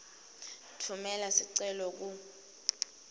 tfumela sicelo ku